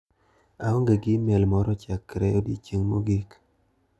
aong'e gi imel moro chakre odiochieng' mogik.